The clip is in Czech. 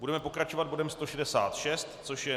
Budeme pokračovat bodem 166, což je